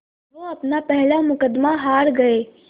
वो अपना पहला मुक़दमा हार गए